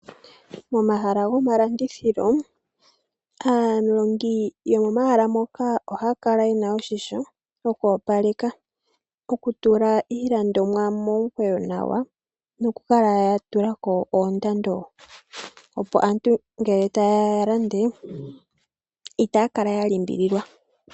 Momahala gomalandithilo aalandi yo momahala moka ohaya kala yena oshimpwiyu shoku opaleka ,okutula iilandomwa momukweyo nawa nokukala ya tulako oomdando opo aantu ngele ta yeya ya lande itaya kala ya limbililwa